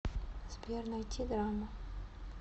сбер найти драму